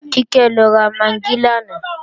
Kíkẹ́ lọ ra magí lánàá